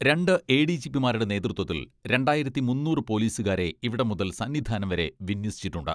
രണ്ട് A D G പിമാരുടെ നേതൃത്വത്തിൽ രണ്ടായിരത്തി മുന്നൂറ് പൊലീസുകാരെ ഇവിടം മുതൽ സന്നിധാനം വരെ വിന്യസിച്ചിട്ടുണ്ട്.